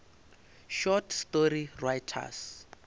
short story writers